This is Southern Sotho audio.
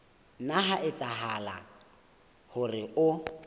nna ha etsahala hore o